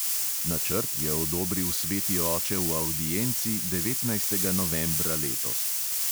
Načrt je odobril sveti oče v avdienci devetnajstega novembra letos.